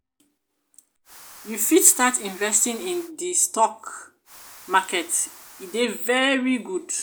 you fit start investing in di stock market e dey very good.